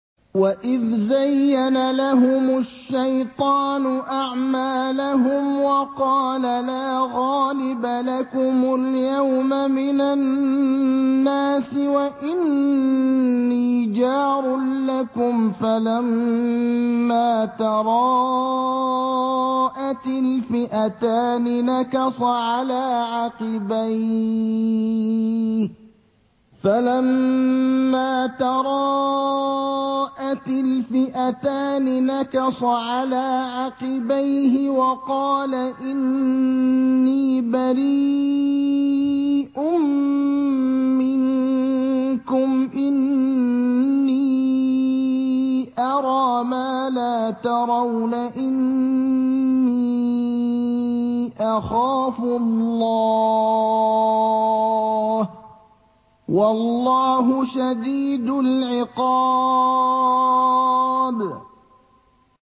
وَإِذْ زَيَّنَ لَهُمُ الشَّيْطَانُ أَعْمَالَهُمْ وَقَالَ لَا غَالِبَ لَكُمُ الْيَوْمَ مِنَ النَّاسِ وَإِنِّي جَارٌ لَّكُمْ ۖ فَلَمَّا تَرَاءَتِ الْفِئَتَانِ نَكَصَ عَلَىٰ عَقِبَيْهِ وَقَالَ إِنِّي بَرِيءٌ مِّنكُمْ إِنِّي أَرَىٰ مَا لَا تَرَوْنَ إِنِّي أَخَافُ اللَّهَ ۚ وَاللَّهُ شَدِيدُ الْعِقَابِ